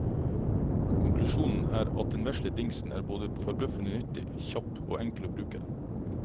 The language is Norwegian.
Konklusjonen er at den vesle dingsen er både forbløffende nyttig, kjapp og enkel å bruke.